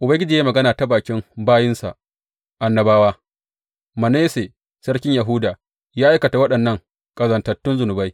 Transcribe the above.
Ubangiji ya yi magana ta bakin bayinsa annabawa, Manasse, sarkin Yahuda ya aikata waɗannan ƙazantattun zunubai.